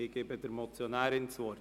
Ich gebe der Motionärin das Wort.